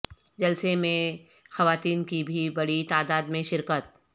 جلسہ میں خواتین کی بھی بڑی تعداد میں شرکت